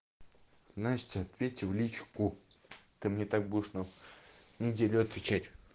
настя ответьте в личку ты мне так будешь на неделю отвечать